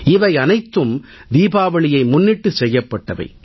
இவை அனைத்தும் தீபாவளியை முன்னிட்டு செய்யப்பட்டவை